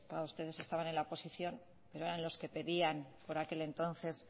claro ustedes estaban en la oposición pero eran los que pedían por aquel entonces